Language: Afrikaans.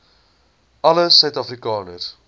alle suid afrikaners